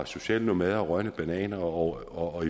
sociale nomader og rådne bananer og